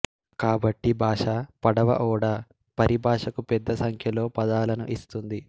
కాబట్టి భాష పడవ ఓడ పరిభాషకు పెద్ద సంఖ్యలో పదాలను ఇస్తుంది